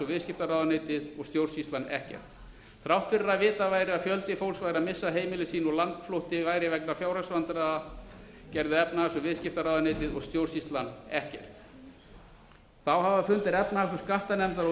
viðskiptaráðuneytið og stjórnsýslan ekkert þrátt fyrir að vitað væri að fjöldi fólks væri að missa heimili sín og landflótti væri vegna fjárhagsvandræða gerðu efnahags og viðskiptaráðuneytið og stjórnsýslan ekkert þá hafa fundir efnahags og skattanefndar og